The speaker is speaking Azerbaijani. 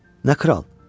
Nə kral?